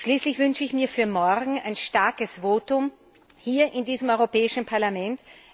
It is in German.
Schließlich wünsche ich mir für morgen ein starkes Votum hier in diesem Europäischen Parlament.